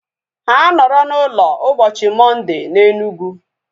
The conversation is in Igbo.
Ha nọrọ na ụlọ ụbọchị Mọnde na Enugu